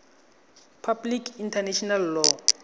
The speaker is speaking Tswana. public international law